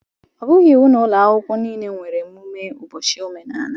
Ọ bụghị iwu na ụlọ akwụkwọ niile nwere mmemme ụbọchị omenala